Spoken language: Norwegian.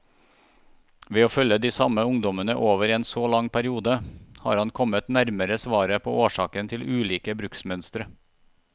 Ved å følge de samme ungdommene over en så lang periode, har han kommet nærmere svaret på årsakene til ulike bruksmønstre.